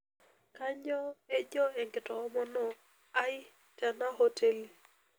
kanyoo ejo ankitoomono ai tena hoteli